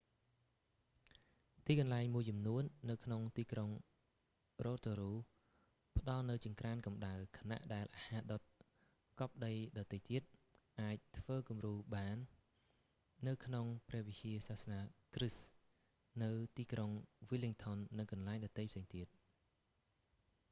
ទីកន្លែងមួយចំនួននៅក្នុងទីក្រុង rotorua ផ្ដល់នូវចង្ក្រានកំដៅ ខណៈដែលអាហារដុតកប់ដីដទៃទៀត អាចធ្វើគំរូបាននៅក្នុងព្រះវិហារសាសនាគ្រីស្ទនៅទីក្រុង wellington និងកន្លែងដទៃផ្សេងទៀត